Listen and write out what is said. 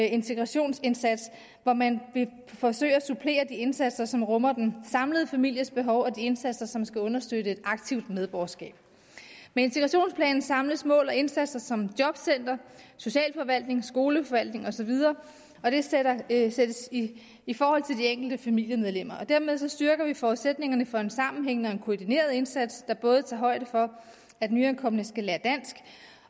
integrationsindsats hvor man forsøger at supplere de indsatser som rummer den samlede families behov og de indsatser som skal understøtte et aktivt medborgerskab med integrationsplanen samles mål og indsatser som jobcenter socialforvaltning skoleforvaltningen osv og det sættes i i forhold til de enkelte familiemedlemmer dermed styrker vi forudsætningerne for en sammenhængende og koordineret indsats der både tager højde for at nyankomne skal lære dansk